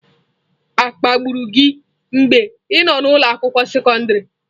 Akpagburu gị mgbe ị nọ n'ụlọ akwụkwọ sekọndrị?